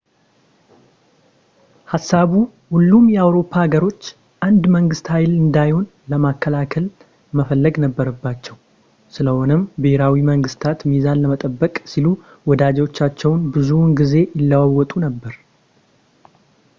ሀሳቡ ሁሉም የአውሮፓ ሀገሮች አንድ መንግስት ኃያል እንዳይሆን ለመከላከል መፈለግ ነበረባቸው ስለሆነም ብሄራዊ መንግስታት ሚዛን ለመጠበቅ ሲሉ ወዳጆቻቸውን ብዙውን ጊዜ ይለዋውጡ ነበር